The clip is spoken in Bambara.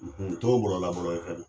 N to bɔralabɔrɔ ye fɛnɛ